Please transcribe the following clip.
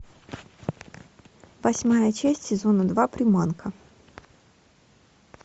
восьмая часть сезона два приманка